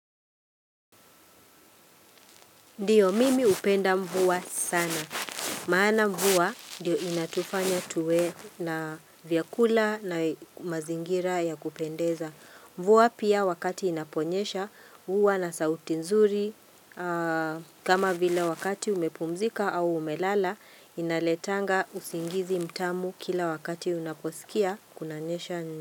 Ndiyo mimi hupenda mvua sana. Maana mvua ndiyo inatufanya tuwe na vyakula na mazingira ya kupendeza. Mvua pia wakati inaponyesha huwa na sauti nzuri. Kama vila wakati umepumzika au umelala inaletanga usingizi mtamu kila wakati unaposikia kunanyesha.